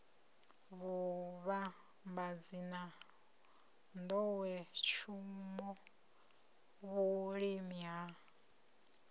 vhuvhambadzi na nḓowetshumo vhulimi na